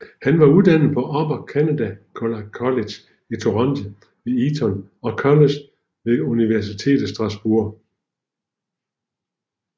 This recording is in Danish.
Han var uddannet på Upper Canada College i Toronto ved Eton College og ved universitetet i Strasbourg